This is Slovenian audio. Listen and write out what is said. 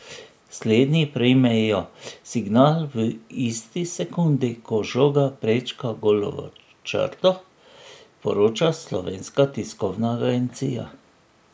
Slednji prejmejo signal v isti sekundi, ko žoga prečka golovo črto, poroča slovenska tiskovna agencija.